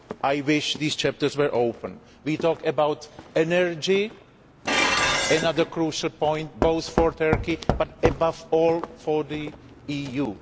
I wish these chapters were open. We talk about energy, another crucial point both for Turkey and, above all, for the EU.